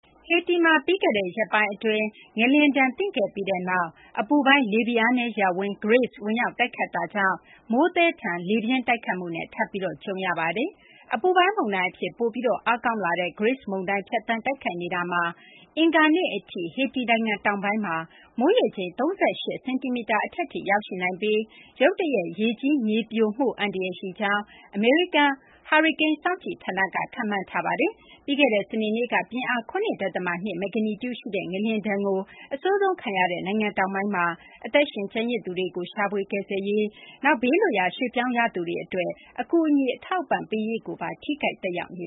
ဟေတီမှာ ပြီးခဲ့တဲ့ ရက်ပိုင်းအတွင်း ငလျင်ဒဏ် သင့်ခဲ့ပြီးနောက် အပူပိုင်း လေဖိအားနည်း ရပ်ဝန်း Grace ဝင်ရောက် တိုက်ခတ်တာကြောင့် မိုးသည်းထန်ပြီး လေပြင်း တိုက်ခတ်မှုနဲ့ ထပ်ပြီး ကြုံတွေ့ရပါတယ်။ အပူပိုင်း မုန်တိုင်း အဖြစ် ပိုပြီး အားကောင်းလာတဲ့ Grace မုန်တိုင်း ဖြတ်သန်း တိုက်ခတ်နေတာမှာ အင်္ဂါနေ့ အထိ ဟေတီ နိုင်ငံ တောင်ပိုင်းမှာ မိုးရေချိန် ၃၈ စင်တီမီတာ အထက်ထိ ရောက်ရှိနိုင်ပြီး ရုတ်တရက် ရေကြီး မြေပြိုမှု အန္တရာယ် ရှိကြောင်း အမေရိကန် ဟာရီကိန်း စောင့်ကြည့်ဌာနက ခန့်မှန်းထားပါတယ်။ ပြီးခဲ့တဲ့ စနေနေ့က ပြင်းအား ၇ ဒသမ ၂ မဂ္ဂနီကျူရှိတဲ့ ငလျင်ဒဏ်ကို အဆိုးဆုံးခံရတဲ့ နိုင်ငံတောင်ပိုင်းမှာ အသက်ရှင် ကျန်ရစ်သူတွေကို ရှာဖွေ ကယ်ဆယ်ရေး လုပ်ငန်းတွေ၊ နောက် ဘေးလွတ်ရာ ရွှေ့ပြောင်ရသူတွေ အတွက် အကူအညီ အထောက်အပံ့ ပေးရေးမှာပါ ထိခိုက် သက်ရောက်န